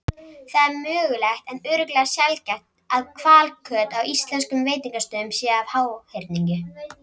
Það er mögulegt en örugglega sjaldgæft að hvalkjöt á íslenskum veitingastöðum sé af háhyrningi.